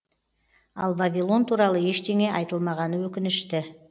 ал вавилон туралы ештеңе айтылмағаны өкінішті